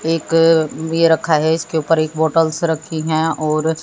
एक बे रखा है इसके ऊपर एक बोटल्स रखी हैं और--